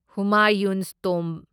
Humayun's Tomba